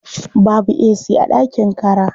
Babu ac a ɗakin kara.